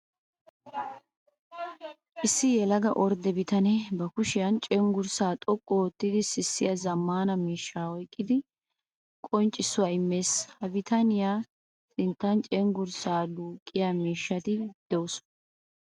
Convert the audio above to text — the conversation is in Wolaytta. Issi yelaga ordde bitane ba kushiyan cenggurssa xoqqu oottiddi sissiya zammaana miishsha oyqqiddi qonccissuwa imees. Ha bitaniya sinttan cenggurssa duuqiya miishshatti de'osonna.